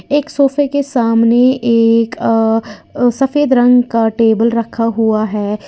एक सोफे के सामने एक अ सफेद रंग का टेबल रखा हुआ है।